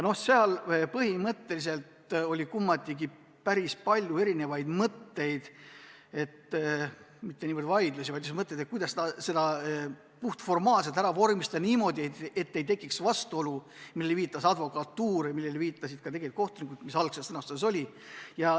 Komisjonis käidi välja päris palju erinevaid mõtteid – vaidlusi ei tekkinud –, kuidas seda puhtformaalselt vormistada niimoodi, et ei tekiks vastuolu, millele viitas advokatuur ja millele viitasid ka kohtunikud ja mis algses sõnastuses oli.